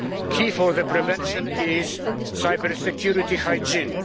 Key for the prevention is cybersecurity hygiene